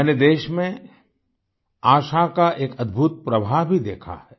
मैंने देश में आशा का एक अद्भुत प्रवाह भी देखा है